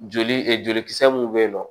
Joli e jolikisɛ mun be yen nɔ